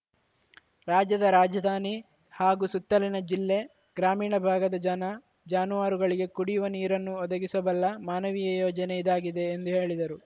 ರಾಜ್ಯದ ರಾಜಧಾನಿ ಹಾಗೂ ಸುತ್ತಲಿನ ಜಿಲ್ಲೆ ಗ್ರಾಮೀಣ ಭಾಗದ ಜನ ಜಾನುವಾರುಗಳಿಗೆ ಕುಡಿಯುವ ನೀರನ್ನೂ ಒದಗಿಸಬಲ್ಲ ಮಾನವೀಯ ಯೋಜನೆ ಇದಾಗಿದೆ ಎಂದು ಹೇಳಿದರು